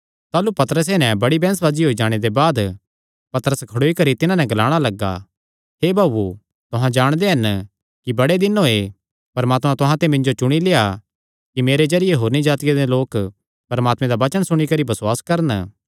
ताह़लू पतरसैं नैं बड्डी बैंह्सबाजी होई जाणे दे बाद पतरस खड़ोई करी तिन्हां नैं ग्लाणा लग्गा हे भाऊओ तुहां जाणदे हन कि बड़े दिन होये परमात्मैं तुहां ते मिन्जो चुणी लेआ कि मेरे जरिये होरनी जातिआं दे लोक परमात्मे दा वचन सुणी करी बसुआस करन